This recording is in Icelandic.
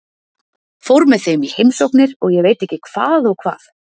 Fór með þeim í heimsóknir og ég veit ekki hvað og hvað.